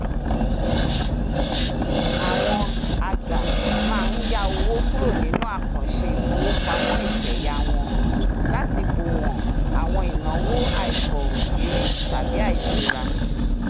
àwọn agà máa ń yá owó kúrò nínú àkàǹṣe ìfowópamọ́ ìfẹ̀yà wọn láti bòwọ̀n àwọn ináwó àìfọ̀rùkérí tàbí àìlera